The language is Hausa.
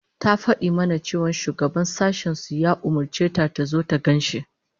Ta fadi mana cewa shugaban sashen su ya umurce ta tazo ta gan shi